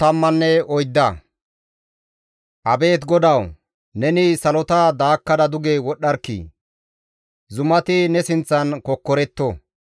Abeet GODAWU, neni salota daakkada duge wodhdharkkii! Zumati ne sinththan kokkoretto.